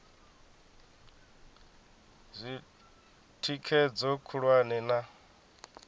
zwi oa thikhedzo khulwane na